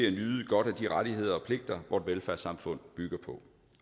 at nyde godt af de rettigheder og pligter vort velfærdssamfund bygger på